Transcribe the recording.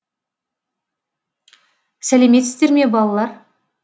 сәлеметсіздер ме балалар